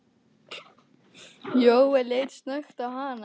Jóel leit snöggt á hana.